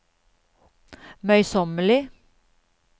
møysommelig